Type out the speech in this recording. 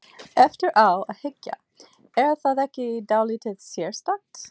Eftir á að hyggja, er það ekki dálítið sérstakt?